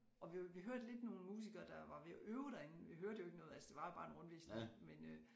Og vi vi hørte lidt nogle musikere der var ved at øve derinde vi hørte jo ikke noget altså det var jo bare en rundvisning men øh